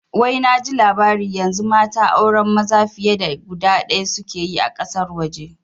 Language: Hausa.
Wai naji labari yanzu mata auren maza fiye da guda ɗaya suke yi a ƙasar waje